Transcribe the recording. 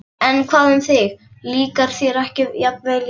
En hvað um þig, líkar þér ekki jafnvel í vinnunni?